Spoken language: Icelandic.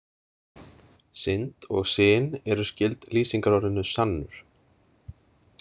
Synd og syn eru skyld lýsingarorðinu sannur.